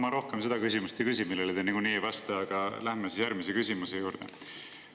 No ma rohkem seda küsimust ei küsi, millele te niikuinii ei vasta, läheme järgmise juurde.